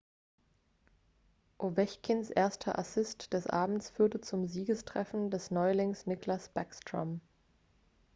ovechkins erster assist des abends führte zum siegestreffer des neulings nicklas backstrom